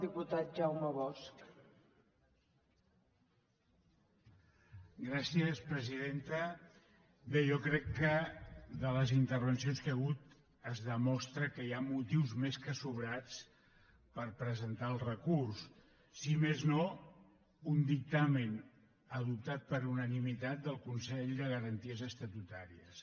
bé jo crec que amb les intervencions que hi ha hagut es demostra que hi ha motius més que sobrats per presentar el recurs si més no un dictamen adoptat per unanimitat del consell de garanties estatutàries